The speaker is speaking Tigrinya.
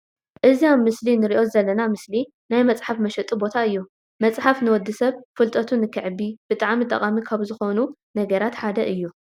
እዚ ኣብ ምስሊ እንርእዮ ዘለና ምስሊ ናይ መፅሐፍ መሸጢ ቦታእዩ። መፅሓፍ ንወዲ ሰብ ፍለጠቱ ንከዕቢ ብጣዕሚ ጠቃሚ ካብ ዝኮኑ ነገራት ሓደ እዩ።